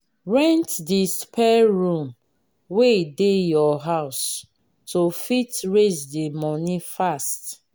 rent di spare room wey dey your house to fit raise di money fast